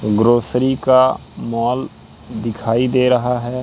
Grocery का mall दिखाई दे रहा है।